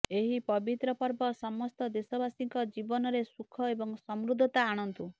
ଏହି ପବିତ୍ର ପର୍ବ ସମସ୍ତ ଦେଶବାସୀଙ୍କ ଜୀବନରେ ସୁଖ ଏବଂ ସମୃଦ୍ଧତା ଆଣନ୍ତୁ